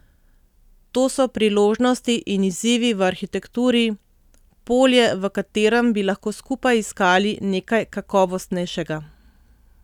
To so priložnosti in izzivi v arhitekturi, polje, v katerem bi lahko skupaj iskali nekaj kakovostnejšega.